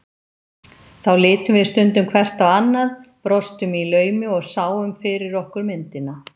Þá litum við stundum hvert á annað, brostum í laumi og sáum fyrir okkur myndina.